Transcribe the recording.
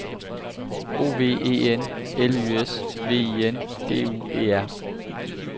O V E N L Y S V I N D U E R